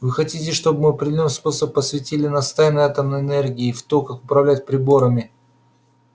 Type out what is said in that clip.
вы хотите чтобы мы определённым способом посвятили нас в тайны атомной энергии и в то как управлять приборами